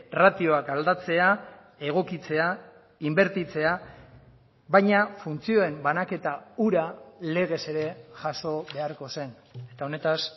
ratioak aldatzea egokitzea inbertitzea baina funtzioen banaketa hura legez ere jaso beharko zen eta honetaz